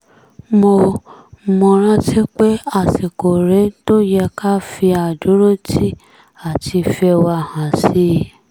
mo mo retí pé àsìkò rèé tó yẹ ká fi àdúrótì àti ìfẹ́ wa hàn sí i